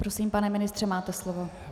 Prosím, pane ministře, máte slovo.